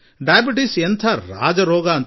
ಮಧುಮೇಹ ಒಂದು ರೀತಿಯಲ್ಲಿ ರಾಜಕಾಯಿಲೆ